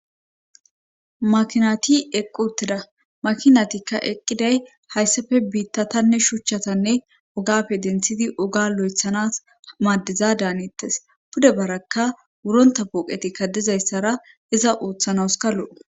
makinati eqqu uttida makinatikka eqqiday hayssafe biittatanne shuchchatanne ugafe denthidi oga lo7ethanas maaddiza daanettes pude barakka wuronta puoqeti kadizayssara iza uuththanaskallou